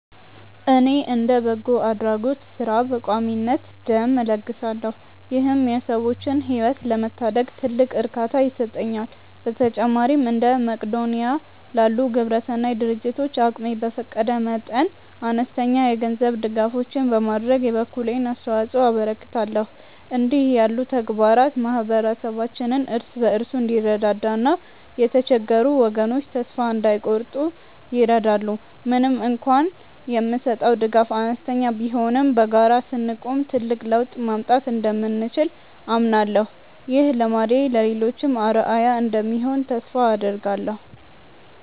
እኔ እንደ በጎ አድራጎት ሥራ በቋሚነት ደም እለግሳለሁ ይህም የሰዎችን ሕይወት ለመታደግ ትልቅ እርካታ ይሰጠኛል። በተጨማሪም እንደ መቅዶንያ ላሉ ግብረሰናይ ድርጅቶች አቅሜ በፈቀደ መጠን አነስተኛ የገንዘብ ድጋፎችን በማድረግ የበኩሌን አስተዋጽኦ አበረክታለሁ። እንዲህ ያሉ ተግባራት ማኅበረሰባችን እርስ በርሱ እንዲረዳዳና የተቸገሩ ወገኖች ተስፋ እንዳይቆርጡ ይረዳሉ። ምንም እንኳን የምሰጠው ድጋፍ አነስተኛ ቢሆንም በጋራ ስንቆም ትልቅ ለውጥ ማምጣት እንደምንችል አምናለሁ። ይህ ልማዴ ለሌሎችም አርአያ እንደሚሆን ተስፋ አደርጋለሁ።